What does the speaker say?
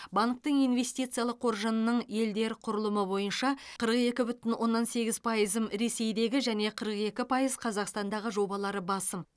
банктің инвестициялық қоржынының елдер құрылымы бойынша қырық екі бүтін оннан сегіз пайызын ресейдегі және қырық екі пайыз қазақстандағы жобалары басым